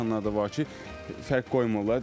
Elə insanlar da var ki, fərq qoymurlar.